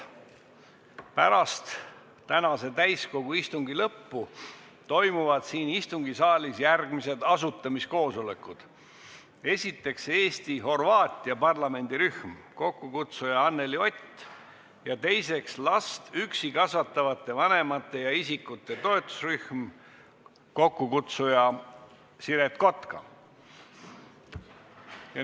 Pärast täiskogu tänase istungi lõppu toimuvad siin istungisaalis järgmised asutamiskoosolekud: esiteks, Eesti-Horvaatia parlamendirühm, kokkukutsuja on Anneli Ott; teiseks, last üksi kasvatavate vanemate ja isikute toetusrühm, kokkukutsuja on Siret Kotka.